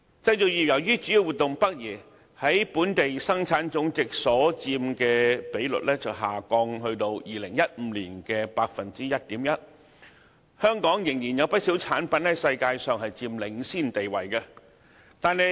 製造業由於主要活動北移，在本地生產總值所佔的比率下降至2015年的 1.1%， 但香港仍然有不少產品在世界上佔領先地位。